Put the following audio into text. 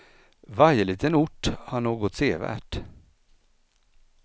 Varje liten ort har något sevärt.